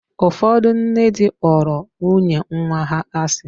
Ụfọdụ nne di kpọrọ nwunye nwa ha asị.